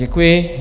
Děkuji.